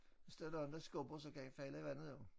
Hvis der er nogen der skubber så kan jeg falde i vandet jo